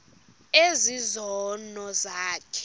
ezi zono zakho